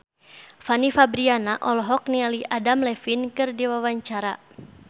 Fanny Fabriana olohok ningali Adam Levine keur diwawancara